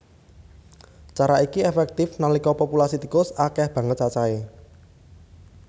Cara iki éféktif nalika populasi tikus akéh banget cacahé